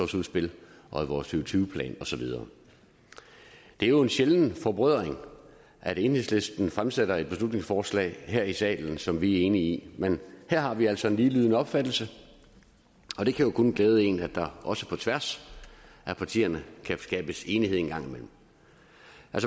tusind og tyve plan og så videre det er jo en sjælden forbrødring at enhedslisten fremsætter et beslutningsforslag her i salen som vi er enige i men her har vi altså en ligelydende opfattelse og det kan jo kun glæde en at der også på tværs af partierne kan skabes enighed en gang imellem